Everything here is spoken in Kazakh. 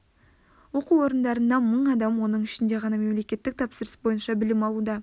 оқу орындарында мың адам оның ішінде ғана мемлекеттік тапсырыс бойынша білім алуда